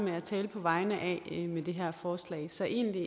med at tale på vegne af med det her forslag så egentlig